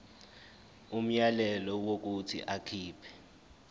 umyalelo wokuthi akhipha